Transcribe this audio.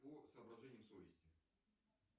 по соображениям совести